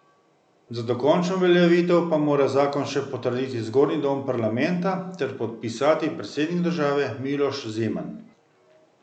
Za dokončno uveljavitev pa mora zakon še potrditi zgornji dom parlamenta ter podpisati predsednik države Miloš Zeman.